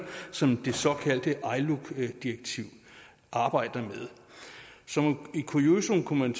som det såkaldte iluc direktiv arbejder med som kuriosum kunne man